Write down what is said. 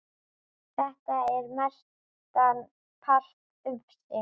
Þetta er mestan part ufsi